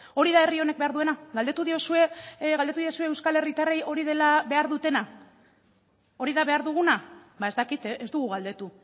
hori da herri honen behar duena galdetu diozue euskal herritarrei hori dela behar dutena hori da behar duguna ez dakit ez dugu galdetu